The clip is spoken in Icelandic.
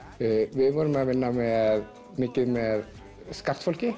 við vorum að vinna mikið með